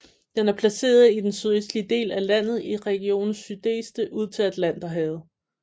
Den er placeret i den sydøstlige del af landet i regionen Sudeste ud til Atlanterhavet